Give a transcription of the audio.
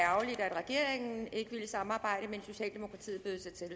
regeringen ikke ville samarbejde men socialdemokratiet bød sig til